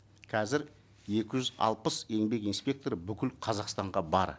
қазір екі жүз алпыс еңбек инспекторы бүкіл қазақстанға бар